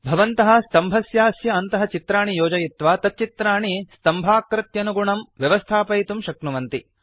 भवन्तः स्तम्भस्यास्य अन्तः चित्राणि योजयित्वा तच्चित्राणि स्तम्भाकृत्यनुगुणं व्यवस्थापयितुं शक्नुवन्ति